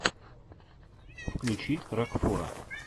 включи рокфора